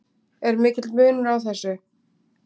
Er mikill munur á þessu?